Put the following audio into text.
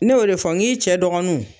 Ne y'o de fɔ ŋ'i cɛ dɔgɔnunw